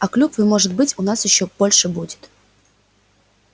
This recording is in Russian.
а клюквы может быть у нас ещё больше будет